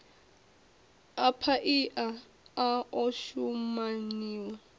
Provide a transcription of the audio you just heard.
a paia a o shumaniwa